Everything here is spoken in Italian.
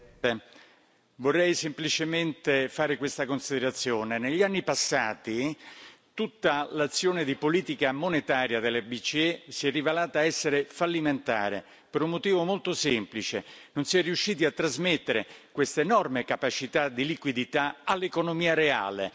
Signora Presidente, onorevoli colleghi, vorrei semplicemente fare una considerazione. Negli anni passati tutta l'azione di politica monetaria della BCE si è rivelata essere fallimentare per un motivo molto semplice non si è riusciti a trasmettere questa enorme capacità di liquidità all'economia reale.